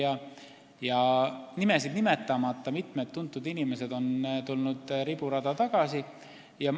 Ma ei nimeta nimesid, aga mitu tuntud inimest on riburada tagasi tulnud.